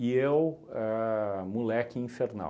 eu, ahn moleque infernal.